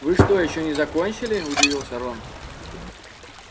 вы что ещё не закончили удивился рон